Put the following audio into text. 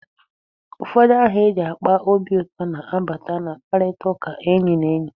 Ụfọdụ aha eji akpa obi ụtọ na-abata na mkparitaụka enyi na enyi.